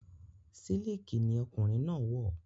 Sílìkì ni ọkùnrin náà wọ̀